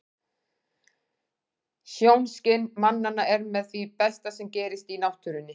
Sjónskyn mannanna er með því besta sem gerist í náttúrunni.